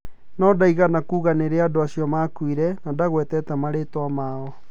No ndaigana kuuga nĩ rĩ andũ acio maakuire, na ndagwetire marĩĩtwa mao.